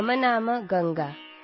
ಮಮ ನಾಮ ಗಂಗಾ